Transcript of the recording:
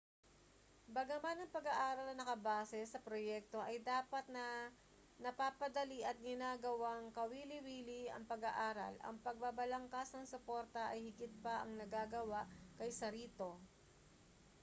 bagaman ang pag-aaral na nakabase sa proyekto ay dapat na napapadali at ginagawang kawili-wili ang pag-aaral ang pagbabalangkas ng suporta ay higit pa ang nagagawa kaysa rito